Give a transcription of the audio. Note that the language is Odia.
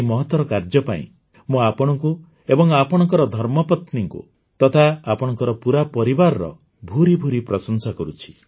ଏହି ମହତର କାର୍ଯ୍ୟ ପାଇଁ ମୁଁ ଆପଣଙ୍କୁ ଏବଂ ଆପଣଙ୍କର ଧର୍ମପତ୍ନୀଙ୍କୁ ତଥା ଆପଣଙ୍କର ପୁରା ପରିବାରର ଭୁରି ଭୁରି ପ୍ରଶଂସା କରୁଛି